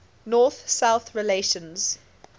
north south relations